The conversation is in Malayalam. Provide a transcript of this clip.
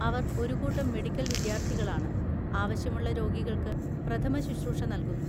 അവർ ഒരു കൂട്ടം മെഡിക്കൽ വിദ്യാർത്ഥികളാണ്, ആവശ്യമുള്ള രോഗികൾക്ക് പ്രഥമശുശ്രൂഷ നൽകുന്നു.